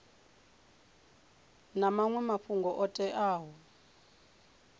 na maṅwe mafhungo o teaho